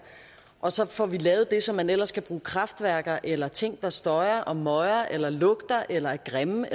og så får vi lavet det som man ellers skal bruge kraftværker eller ting der støjer og møger eller lugter eller er grimme